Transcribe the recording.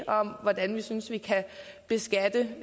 om hvordan vi synes vi kan beskatte